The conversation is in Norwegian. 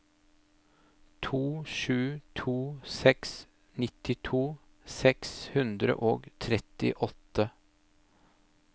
to sju to seks nittito seks hundre og trettiåtte